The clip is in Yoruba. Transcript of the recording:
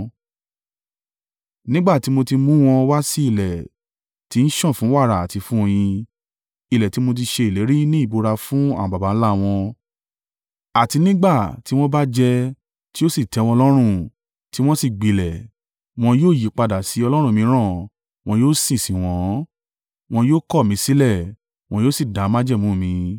Nígbà tí mo ti mú wọn wá sí ilẹ̀ tí ń sàn fún wàrà àti fún oyin, ilẹ̀ tí mo ti ṣe ìlérí ní ìbúra fún àwọn baba ńlá wọn, àti nígbà tí wọ́n bá jẹ, tí ó sì tẹ́ wọn lọ́rùn, tí wọ́n sì gbilẹ̀, wọn yóò yí padà sí ọlọ́run mìíràn wọn yóò sì sìn wọ́n, wọn yóò kọ̀ mí sílẹ̀, wọn yóò sì da májẹ̀mú mi.